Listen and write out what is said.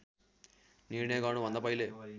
निर्णय गर्नुभन्दा पहिले